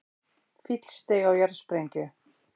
Fíll steig á jarðsprengju